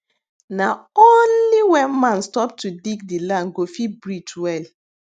na only when man stop to dig the land go fit breathe well